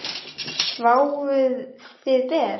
Sváfuð þið ber?